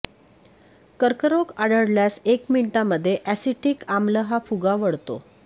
कर्करोग आढळल्यास एक मिनिटामध्ये अॅसिटिक आम्ल हा फुगा वळतो